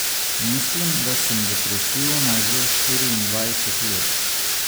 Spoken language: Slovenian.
Mislim, da sem depresivna že štiriindvajset let.